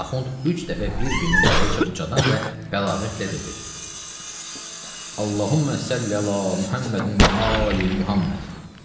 Axund üç dəfə bir-birinin dalınca ucadan və bəlağətlə dedi: Allahummə səlli əla Muhəmmədin və ali Muhəmməd.